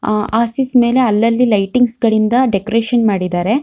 ಅಹ್ ಆರ್ಸಿಸ್ ಮೇಲೆ ಅಲ್ಲಲ್ಲಿ ಲೈಟಿಂಗ್ಸ್ ಗಳಿಂದ ಡೆಕೋರೇಷನ್ ಮಾಡಿದ್ದಾರೆ.